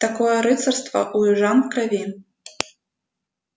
такое рыцарство у южан в крови